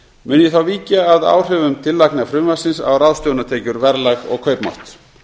mun ég þá víkja að áhrifum tillagna frumvarpsins á ráðstöfunartekjur verðlag og kaupmátt